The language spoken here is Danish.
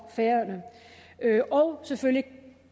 selvfølgelig